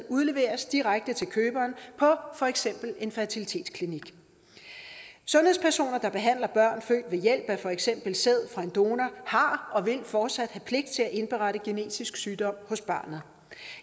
udleveres direkte til køberen på for eksempel en fertilitetsklinik sundhedspersoner der behandler børn født ved hjælp af for eksempel sæd fra en donor har og vil fortsat have pligt til at indberette genetisk sygdom hos barnet